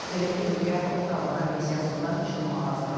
Belə ki, ölkə Ottawa Konvensiyasından çıxmağa hazırlaşır.